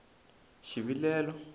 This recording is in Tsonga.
xivilelo